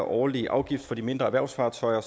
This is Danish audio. årlige afgift for de mindre erhvervsfartøjer er